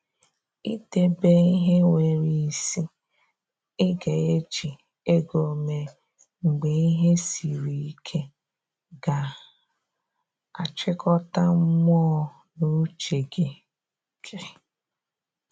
I debe ihe nwere isi I ga eji ego mee mgbe ihe siri ike ga a chịkọta mmụọ na uche gi gi